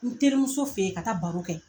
N terimuso fe yen ka taa baro kɛ.